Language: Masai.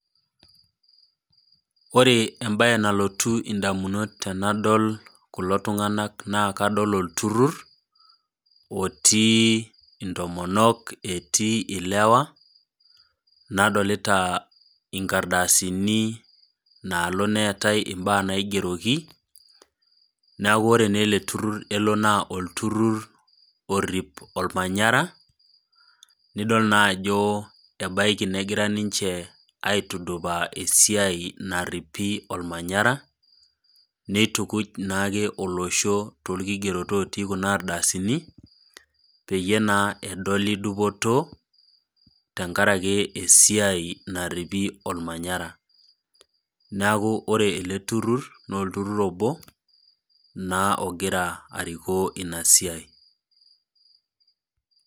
Ore embae nalotu indamunot tenadol kulo tung'ana naa kadol oltururr otii intomonok netii ilewa, nadolita inkardasini naalo neatai imbaa naigeroki neaku ore naa ele turur naa olturur orip olmanyara, nidol naa ajo ebaiki negira ninche aitudupaa esiai naaripi olmanyara, neitukuj naake olosho toolkigerot otii Kuna ardasini peyie naa edoli dupoto tenkaraki esiai naaripi olmanyara. Neaku ore ele turur naa olturur obo naa ogira arikoo Ina siai.